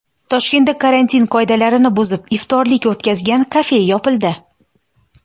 Toshkentda karantin qoidalarini buzib, iftorlik o‘tkazgan kafe yopildi.